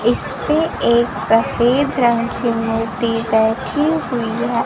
इसपे एक सफेद रंग की मूर्ती बैठी हुई है।